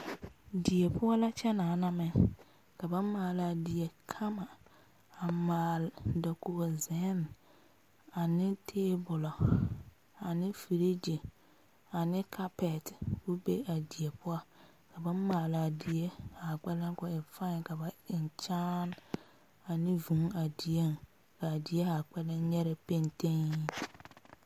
Die poɔ la kyɛ naana meŋ ka ba maalaa die kama a maale dakogi zenne ane tabolɔ ane feregi ane kapɛti ko be a die poɔ ka ba maale die zaa kpɛle ko e feɛ ka ba eŋ kyaane ane vūū a die kaa die zaa kpɛle nyɛre pentege.